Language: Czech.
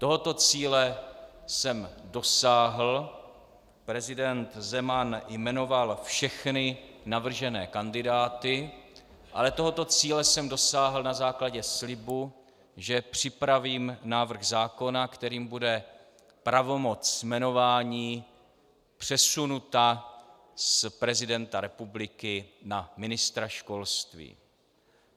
Tohoto cíle jsem dosáhl, prezident Zeman jmenoval všechny navržené kandidáty, ale tohoto cíle jsem dosáhl na základě slibu, že připravím návrh zákona, kterým bude pravomoc jmenování přesunuta z prezidenta republiky na ministra školství.